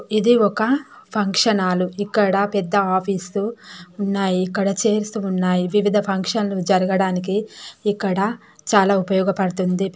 ఇది ఒక function hall ఇక్కడ పెద్ద ఆఫీసు ఉన్నాయ్ ఇక్కడ చైర్స్ ఉన్నాయ్ వివిధ ఫంక్షన్లు జరగటానికి ఇక్కడ చాలా ఉపయోగ పడుతుంది.